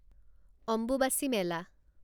Ambubachi Mela